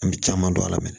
An bɛ caman don a la